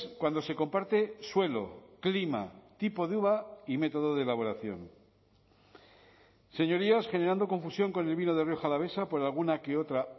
cuando se comparte suelo clima tipo de uva y método de elaboración señorías generando confusión con el vino de rioja alavesa por alguna que otra